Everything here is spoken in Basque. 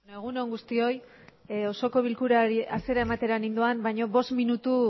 egun on guztioi osoko bilkurari hasiera emateran indoan baña bost minutu